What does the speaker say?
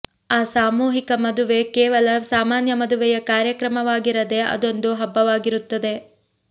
ಆ ಸಾಮೂಹಿಕ ಮದುವೆ ಕೇವಲ ಸಾಮಾನ್ಯ ಮದುವೆಯ ಕಾರ್ಯಕ್ರಮವಾಗಿರದೆ ಅದೊಂದು ಹಬ್ಬವಾಗಿರುತ್ತದೆ